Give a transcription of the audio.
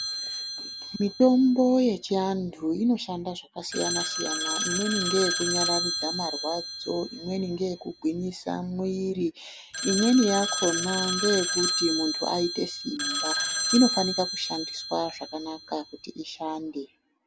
Mitombo yechiantu inoshanda zvakasiyana-siyana. Imweni ngeyekunyararidza marwadzo, imweni ngeyekugwinyisa mwiiri. Imweni yakhona ngeyekuti muntu aite simba. Inofanika kushandiswa zvakanaka kuti ishande.